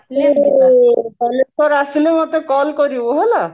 ମତେ call କରିବୁ ହେଲା